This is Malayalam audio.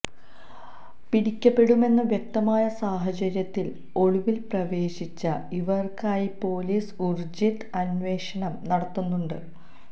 പിടിക്കപ്പെടുമെന്ന് വ്യക്തമായ സാഹചര്യത്തില് ഒളിവില് പ്രവേശിച്ച ഇവര്ക്കായി പോലീസ് ഊര്ജിത അന്വേഷണം നടത്തുന്നുണ്ട്